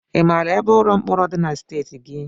Ị mara ebe ụlọ mkpọrọ dị na steeti gị?